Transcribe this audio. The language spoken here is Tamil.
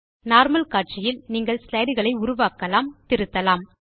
நார்மல் காட்சியில் நீங்கள் ஸ்லைடு களை உருவாக்கலாம் திருத்தலாம்